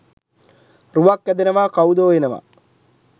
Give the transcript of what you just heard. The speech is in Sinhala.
රුවක් ඇදෙනවා කවුදෝ එනවා